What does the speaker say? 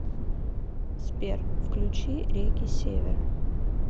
сбер включи реки севера